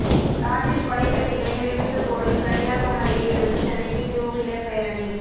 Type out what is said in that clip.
ராஜிவ் கொலை கைதிகளை விடுவிக்ககோரி கன்னியாகுமரியில் இருந்து சென்னைக்கு டூவீலர் பேரணி